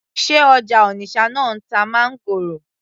sé ọjà Onitsha náà ń ta máńgòrò